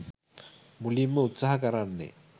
මුලින්ම උත්සාහ කරන්නේ